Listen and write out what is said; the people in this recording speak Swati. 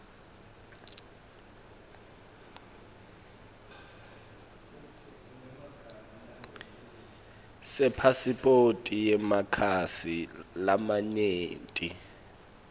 sepasiphoti yemakhasi lamanyenti